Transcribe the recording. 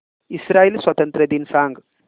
Israel स्वातंत्र्य दिन सांग